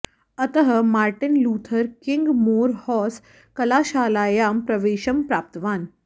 अतः Martin Luther King Morehouse कलाशालायां प्रवेशं प्राप्तवान्